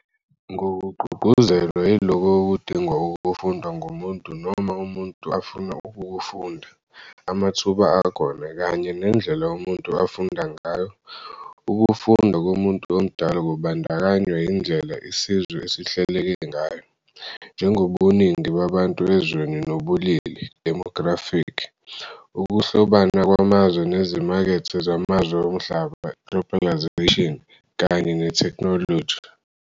Ngokugqugquzelwa yilokho okudingwa ukufundwa ngumuntu noma umuntu afuna ukukufunda, amathuba akhona, kanye nendlela umuntu afunda ngayo, ukufunda komuntu omdala kubandakanywa yindlela isizwe esihleleke ngayo, njengobuningi babantu ezweni nobulili, demographic, ukuhlobana kwamazwe nezimakethe zamazwe omhlaba, globalisation, kanye netheknoloji.